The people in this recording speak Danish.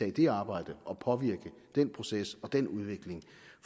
i det arbejde og påvirke den proces og den udvikling